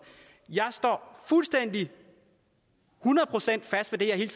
jeg står fuldstændig hundrede procent fast på det jeg hele